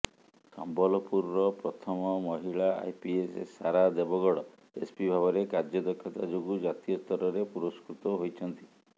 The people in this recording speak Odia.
ସମ୍ବଲପୁରର ପ୍ରଥମ ମହିଳା ଆଇପିଏସ୍ ସାରା ଦେବଗଡ଼ ଏସ୍ପି ଭାବରେ କାର୍ଯ୍ୟଦକ୍ଷତା ଯୋଗୁଁ ଜାତୀୟ ସ୍ତରରେ ପୁରସ୍କୃତ ହୋଇଛନ୍ତି